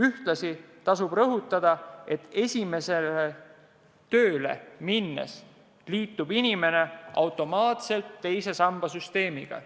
Ühtlasi tuleb rõhutada, et esimesele tööle minnes liitub inimene automaatselt teise samba süsteemiga.